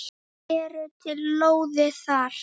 Eru til lóðir þar?